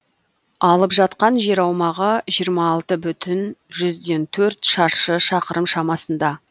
алып жатқан жер аумағы жиырма алты бүтін жүзден төрт шаршы шақырым шамасында